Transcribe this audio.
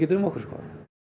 um okkur